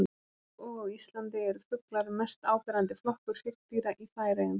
Líkt og á Íslandi eru fuglar mest áberandi flokkur hryggdýra í Færeyjum.